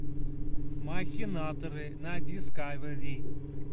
махинаторы на дискавери